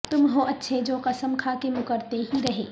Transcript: تم ہو اچھے جو قسم کھا کے مکرتے ہی رہے